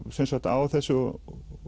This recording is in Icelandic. á þessu og